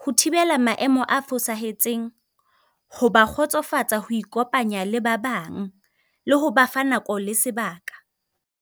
Ho thibela maemo a fosahetseng, ho ba kgotsofatsa ho ikopanya le ba bang, le ho ba fa nako le sebaka.